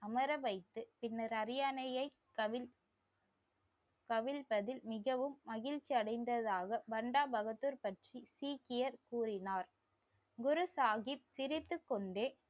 அமர வைத்து பின்னர் அரியணையை கவிழ்~ கவிழ்த்ததில் மிகவும் மகிழ்ச்சி அடைந்ததாக வண்டா பகதூர் பற்றி சீக்கியர் கூறினார் குரு சாகிப் சிரித்துக் கொண்டே